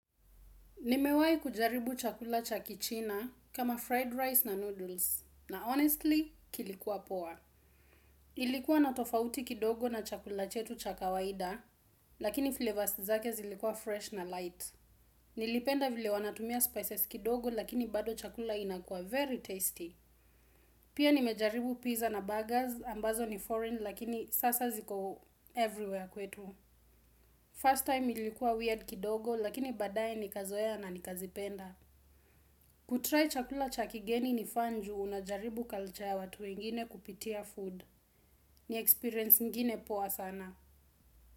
Nimewahi kujaribu chakula cha kichina kama fried rice na noodles na honestly kilikuwa poa. Ilikuwa na tofauti kidogo na chakula chetu cha kawaida lakini flavors zake zilikuwa fresh na light. Nilipenda vile wanatumia spices kidogo lakini bado chakula inakuwa very tasty. Pia nimejaribu pizza na burgers ambazo ni foreign lakini sasa ziko everywhere kwetu. First time ilikuwa weird kidogo lakini baadae nikazoea na nikazipenda. Kutry chakula cha kigeni ni fun ju unajaribu culture ya watu wengine kupitia food. Ni experience ingine poa sana.